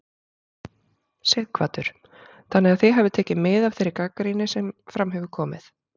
Sighvatur: Þannig að þið hafið tekið mið af þeirri gagnrýni sem fram hefur komið?